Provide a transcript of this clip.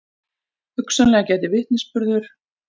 Hugsanlega gæti vitnisburður